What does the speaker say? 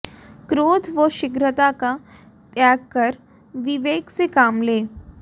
क्रोध व शीघ्रता का त्याग कर विवेक से काम लें